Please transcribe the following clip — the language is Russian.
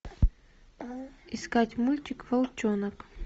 искать мультик волчонок